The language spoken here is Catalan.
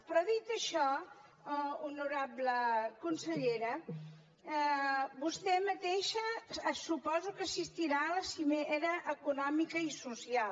però dit això honorable consellera vostè mateixa suposo que assistirà a la cimera econòmica i social